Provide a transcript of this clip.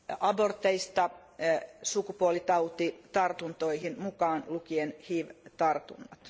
aborteista sukupuolitautitartuntoihin mukaan lukien hiv tartunnat.